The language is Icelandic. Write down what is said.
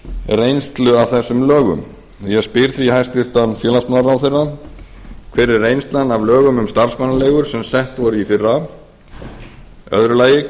reynslu af þessum lögum ég spyr því hæstvirtur félagsmálaráðherra fyrstu hver er reynslan af lögum um starfsmannaleigur sem sett voru í fyrra annars